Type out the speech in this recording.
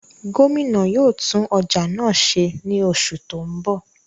Gomina yóò tun ọja náa ṣe ni oṣu ti n bọ.